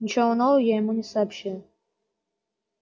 ничего нового я ему не сообщил